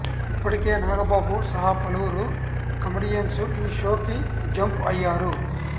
ఇప్పటికే నాగబాబు సహా పలువురు కమెడియన్స్ ఈ షో కి జంప్ అయ్యారు